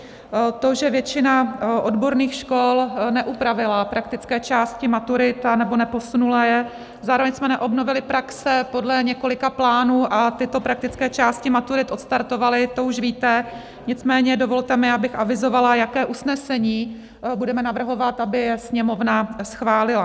To, že většina odborných škol neupravila praktické části maturit anebo neposunula je, zároveň jsme neobnovili praxe podle několika plánů a tyto praktické části maturit odstartovaly, to už víte, nicméně dovolte mi, abych avizovala, jaké usnesení budeme navrhovat, aby je Sněmovna schválila: